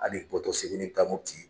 Hal'i bɔtɔ Segu n'i bi taa Mopti